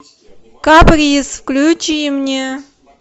каприз включи мне